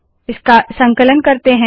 इसका संकलन करते है